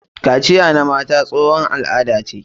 Kaciya na mata tsohon al'ada ce.